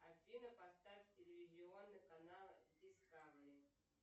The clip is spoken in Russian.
афина поставь телевизионный канал дискавери